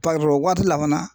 waati la fana